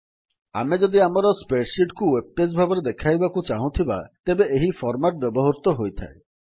ଆମେ ଯଦି ଆମର Spreadsheetକୁ ୱେବ୍ ପେଜ୍ ଭାବରେ ଦେଖାଇବାକୁ ଚାହୁଁଥିବା ତେବେ ଏହି ଫର୍ମାଟ୍ ବ୍ୟବହୃତ ହୋଇଥାଏ